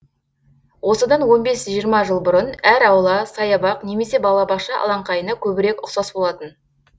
осыдан он бес жиырма жыл бұрын әр аула саябақ немесе балабақша алаңқайына көбірек ұқсас болатын